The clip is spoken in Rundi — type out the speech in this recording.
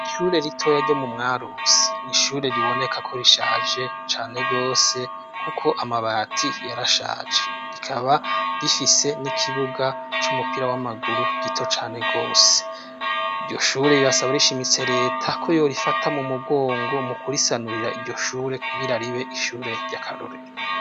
ishure ritoya ryo mu mwarusi ni ishure riboneka ko rishaje cane gose kuko amabati yarashaje rikaba rifise n'ikibuga c'umupira w'amaguru gito cane gose iryoshure rirasaba rishimitse leta ko yo rifata mu mugongo mu kurisanurira iryoshure kugira ribe ishure rya karorero